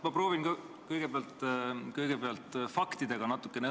Ma proovin ka kõigepealt natukene faktidega õnne.